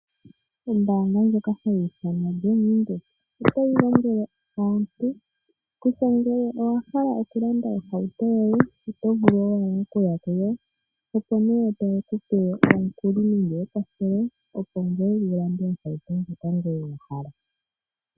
Ombaanga ndjoka hayi ithanwa Bank Windhoek otayi lombwele antu kutya ngele owa hala okulanda ohauto yoye oto vulu owala okuya kuyo, opo ye ku pe omukuli wu vule okulanda ohauto ndjoka wa hala.